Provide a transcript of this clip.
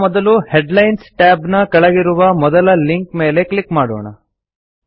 ಈಗ ಮೊದಲು ಹೆಡ್ಲೈನ್ಸ್ ಟ್ಯಾಬ್ನ ಕೆಳಗಿರುವ ಮೊದಲ ಲಿಂಕ್ ಮೇಲೆ ಕ್ಲಿಕ್ ಮಾಡೋಣ